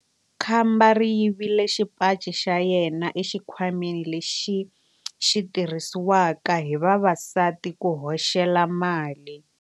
Khamba ri yivile xipaci xa yena exikhwameni lexi xi tirhisiwaka hi vavasati ku hoxela mali.